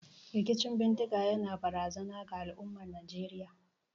Rikicin bindiga yana barazana ga al'ummar Najeriya.